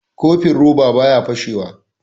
Kofin roba baya fashe wa